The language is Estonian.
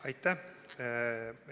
Aitäh!